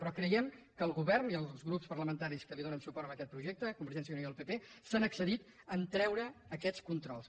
però creiem que el govern i els grups parlamentaris que li donen suport en aquest projecte convergència i unió i el pp s’han excedit en treure aquests controls